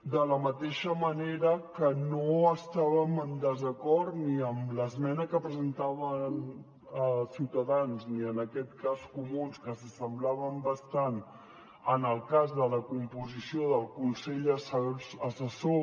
de la mateixa manera que no estàvem en desacord ni amb l’esmena que presentava ciutadans ni en aquest cas comuns que s’assemblaven bastant en el cas de la composició del consell assessor